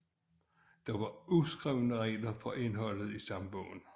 Der var uskrevne regler for indholdet i stambogen